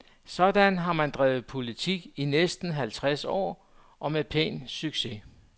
Sådan har man drevet politik i næsten halvtreds år, og med pæn succes.